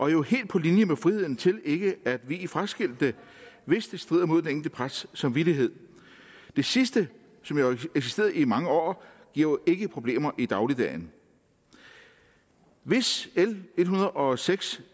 er jo helt på linje med friheden til ikke at vie fraskilte hvis det strider mod den enkelte præsts samvittighed det sidste som har eksisteret i mange år giver jo ikke problemer i dagligdagen hvis l en hundrede og seks